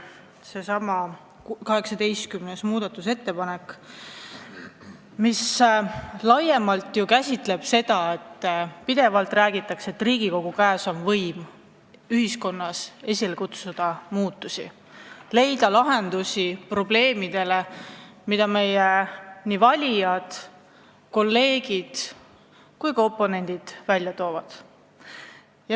See on 18. muudatusettepanek, mis laiemalt käsitleb seda, et pidevalt räägitakse, et Riigikogu käes on võim ühiskonnas muudatusi esile kutsuda, leida lahendusi probleemidele, mida meie valijad ja kolleegid, sh oponendid välja toovad.